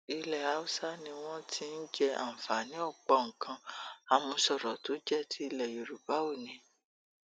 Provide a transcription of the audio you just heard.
ilẹ haúsá ni wọn ti ń jẹ àǹfààní ọpọ nǹkan àmúṣọrọ tó jẹ ti ilẹ yorùbá oónì